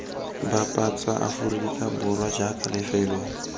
bapatsa aforika borwa jaaka lefelo